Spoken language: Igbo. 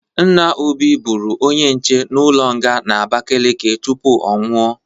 Nna Obi bụrụ onye nche ụlọ nga n'Abakeleke tupu ọnwụ.